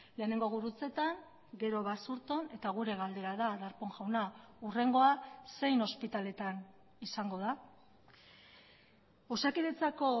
lehenengo gurutzetan gero basurton eta gure galdera da darpón jauna hurrengoa zein ospitaletan izango da osakidetzako